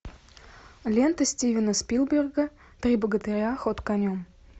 лента стивена спилберга три богатыря ход конем